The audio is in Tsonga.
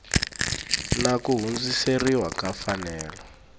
na ku hundziseriwa ka mfanelo